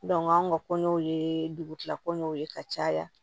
anw ka kɔɲɔw ye dugutigilakɔ ɲɛw ye ka caya